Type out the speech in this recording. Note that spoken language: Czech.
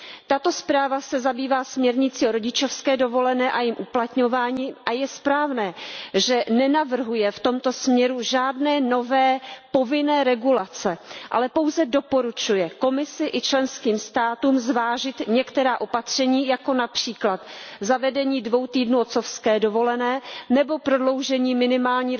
Tato zpráva se zabývá směrnicí o rodičovské dovolené a jejím uplatňování a je správné, že nenavrhuje v tomto směru žádné nové povinné regulace, ale pouze doporučuje Komisi a členským státům zvážit některá opatření, jako například zavedení dvou týdnů otcovské dovolené nebo prodloužení minimální